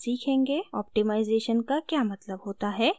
optimization का क्या मतलब होता है